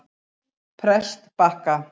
Prestbakka